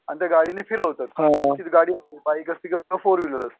आणि त्या गाडीने फिरवतात त्यांचीच गाडी असते बाईक असते किंवा फोरविलर असते